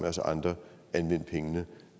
os andre anvende pengene